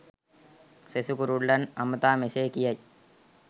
සෙසු කුරුල්ලන් අමතා මෙසේ කියයි.